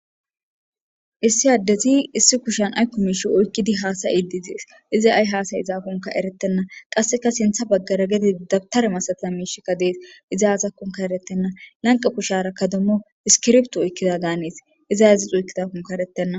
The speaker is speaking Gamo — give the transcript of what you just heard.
Issi adezi issi kushsni ayikko mishshe oyikkidi desi izi ayi hasaide dizakkonne eretena qasekkasinththa bagara qase dabiters misayiza misheyikka deesi izi azakkonne eretena hanikko kushsharakka issikibirito oyikidada hannesi izi azasi oyikidadakkonne eretena